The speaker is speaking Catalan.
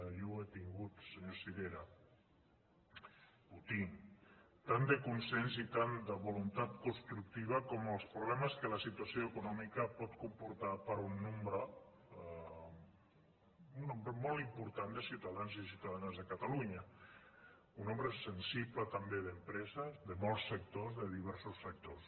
jo l’he tingut senyor sirera el tinc tant de consens i tanta voluntat constructiva com els problemes que la situació econòmica pot comportar per a un nombre molt important de ciutadans i ciutadanes de catalunya un nombre sensible també d’empreses de molts sectors de diversos sectors